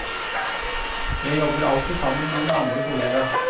Jeg jobber alltid sammen med en mannlig kollega.